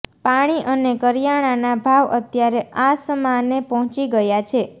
પાણી અને કરિયાણાના ભાવ અત્યારે આસમાને પહોંચી ગયાં છે